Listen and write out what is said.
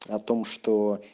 о том что